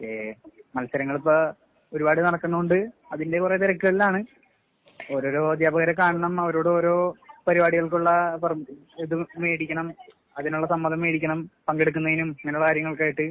ഏയ് മത്സരങ്ങളിപ്പോ ഒരുപാട് നടക്കണുണ്ട് അതിന്റെ കൊറേ തെരക്കുകളിലാണ് ഓരോരോ അധ്യാപകരെ കാണണം അവരോട് ഓരോ പരിപാടികൾക്കുള്ള പെർ ഇത് മേടിക്കണം. അതിനുള്ള സമ്മതം മേടിക്കണം. പങ്കെടുക്കുന്നതിനും അങ്ങെനുള്ള കാര്യങ്ങൾക്കായിട്ട്